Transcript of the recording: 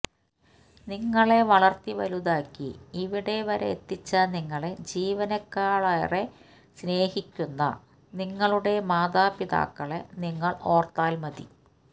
നിങ്ങളെ വളര്ത്തി വലുതാക്കി ഇവിടെ വരെ എത്തിച്ച നിങ്ങളെ ജീവനേക്കാളെറെ സ്നേഹിക്കുന്ന നിങ്ങളുടെ മാതാപിതാക്കളെ നിങ്ങള് ഓര്ത്താല് മതി